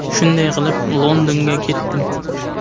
Shunday qilib, Londonga ketdim.